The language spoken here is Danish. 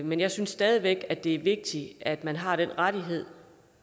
men jeg synes stadig væk at det er vigtigt at man har den rettighed